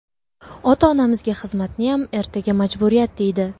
Ota-onamizga xizmatniyam ertaga majburiyat deydi.